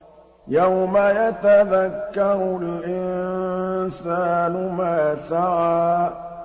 يَوْمَ يَتَذَكَّرُ الْإِنسَانُ مَا سَعَىٰ